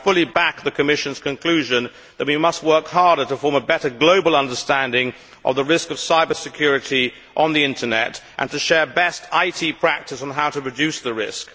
So I fully back the Commission's conclusion that we must work harder to form a better global understanding of the risk of cyber security on the Internet and to share best IT practice on how to reduce the risk.